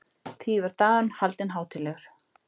Því var dagurinn haldinn hátíðlegur.